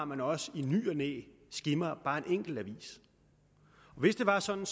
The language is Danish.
at man også i ny og næ skimmer bare en enkelt avis hvis det var sådan